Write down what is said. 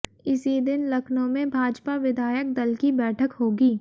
इसी दिन लखनऊ में भाजपा विधायक दल की बैठक होगी